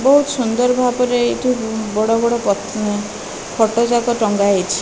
ବହୁତ ସୁନ୍ଦର ଭାବରେ ଏଠି ବଡ଼ ବଡ଼ ଫଟ ଯାଙ୍କ ଟଙ୍ଗା ହେଇଛି।